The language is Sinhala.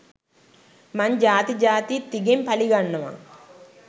මං ජාති ජාතිත් තිගෙන් පළිගන්නවා.